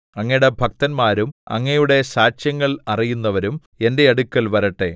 അങ്ങയുടെ ഭക്തന്മാരും അങ്ങയുടെ സാക്ഷ്യങ്ങൾ അറിയുന്നവരും എന്റെ അടുക്കൽ വരട്ടെ